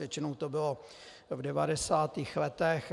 Většinou to bylo v 90. letech.